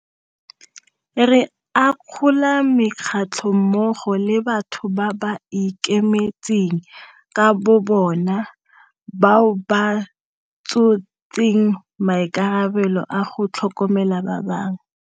Re akgola mekgatlho mmogo le batho ba ba ikemetseng ka bobona bao ba tshotseng maikarabelo a go tlhokomela ba bangwe.